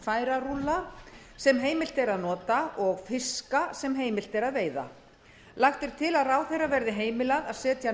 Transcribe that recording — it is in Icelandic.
eða færarúlla sem heimilt er að nota og fiska sem heimilt er að veita lagt er til að ráðherra verði heimilað að setja